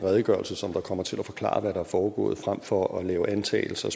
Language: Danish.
redegørelse som kommer til at forklare hvad der er foregået frem for at lave antagelser